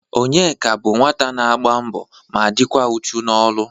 Onyeka bụ nwata na-agba mbọ ma dịkwa uchu n'ọlụ